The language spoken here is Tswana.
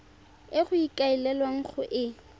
e go ikaelelwang go e